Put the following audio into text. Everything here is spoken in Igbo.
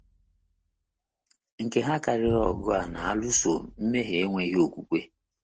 Nke ha karịrị ọgụ a na - alụso mmehie enweghị okwukwe.